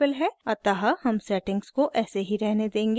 अतः हम सेटिंग्स को ऐसे ही रहने देंगे